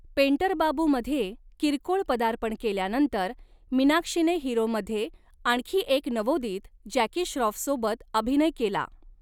Painter Babu मध्ये किरकोळ पदार्पण केल्यानंतर मीनाक्षीने हीरोमध्ये आणखी एक नवोदित जॅकी श्रॉफसोबत अभिनय केला.